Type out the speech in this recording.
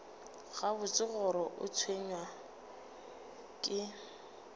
gabotse gore o tshwenywa ke